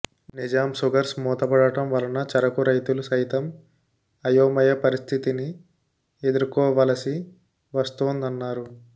నిజాంసుగర్స్ మూతపడటం వలన చెరకు రైతులు సైతం అయోమయ పరిస్థితిని ఎదుర్కోవలసి వస్తోందన్నారు